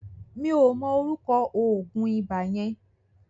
Mi ò mọ ọrúkọ òògùn ibà yẹn.